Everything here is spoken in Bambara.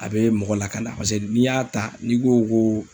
A be mɔgɔ lakana. Paseke n'i y'a ta n'i ko ko